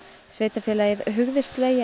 sveitarfélagið hugðist leigja